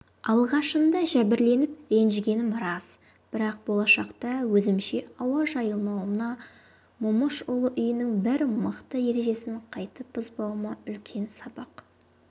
алғашында жәбірленіп ренжігенім рас бірақ болашақта өзімше ауа жайылмауыма момышұлы үйінің бір мықты ережесін қайтіп бұзбауыма үлкен сабақ